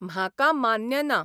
म्हाका मान्य ना.